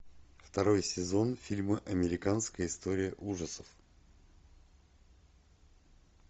второй сезон фильма американская история ужасов